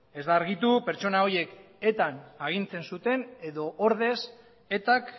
ez da argitu pertsona horiek etan agintzen zuten edo ordez etak